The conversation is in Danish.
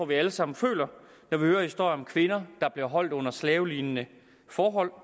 vi alle sammen føler når vi hører historier om kvinder der bliver holdt under slavelignende forhold